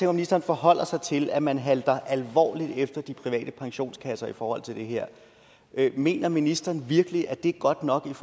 at ministeren forholder sig til at man halter alvorligt efter de private pensionskasser i forhold til det her mener ministeren virkelig at det er godt nok